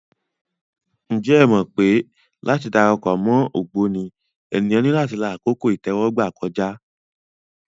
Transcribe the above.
Ǹjẹ́ o mọ̀ pé láti dara pọ̀ mọ́ ògbóni, ènìyàn ní láti la àkókò ìtẹ́wọ́gbà kọjá.